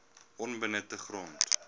onbenutte grond